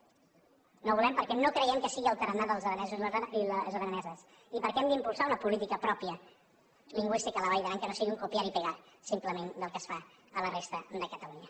no ho volem perquè no creiem que sigui el tarannà dels aranesos i les araneses i perquè hem d’impulsar una política pròpia lingüística a la vall d’aran que no sigui un copiar y pegar simplement del que es fa a la resta de catalunya